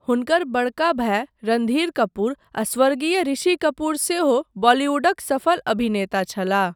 हुनकर बड़का भाई रणधीर कपूर आ स्वर्गीय ऋषि कपूर सेहो बॉलीवुडक सफल अभिनेता छलाह।